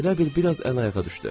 O elə bil biraz əl-ayağa düşdü.